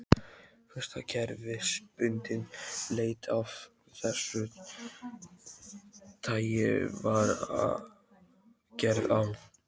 Fyrsta kerfisbundin leit af þessu tagi var gerð á